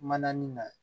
Manani na